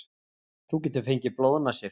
Þú getur fengið blóðnasir.